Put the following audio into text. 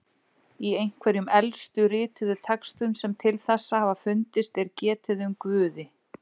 Í einhverjum elstu rituðu textum sem til þessa hafa fundist er getið um guði.